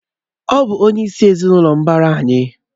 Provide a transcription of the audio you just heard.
Ọ bụ onye sị́ n'ezinụlọ mbara anyị